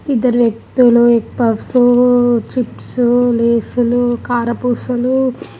ఇద్దరు వ్యక్తులు ఎగ్గ్ఫఫూ ఊ చిప్స్ ఉ లేసు లు కారపుసలు--